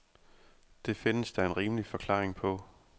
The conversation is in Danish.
Det findes der en rimelig forklaring på.